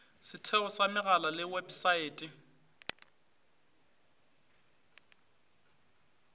setheo sa megala le websaete